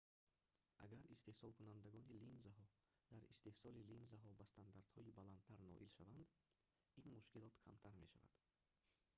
агар истеҳсолкунандагони линзаҳо дар истеҳсоли линзаҳо ба стандартҳои баландтар ноил шаванд ин мушкилот камтар мешавад